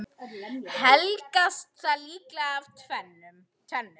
Helgast það líklega af tvennu.